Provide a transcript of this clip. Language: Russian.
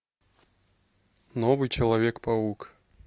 новый человек паук